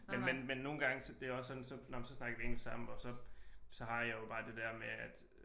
Men nogle gange så det er også sådan så nåh men så snakker vi engelsk sammen og så så har jeg jo bare det dér med at